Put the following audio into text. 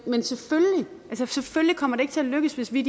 selvfølgelig kommer det ikke til at lykkes hvis vi